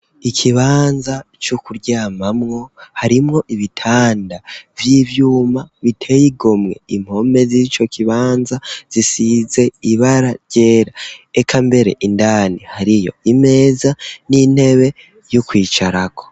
Ikibanza co kuryamamwo, harimwo ibitanda vy'ivyuma biteye igomwe, impome z'ico kibanza zisize ibara ryera ,ekambere indani hariyo imeza n'intebe vy'ukwicarako.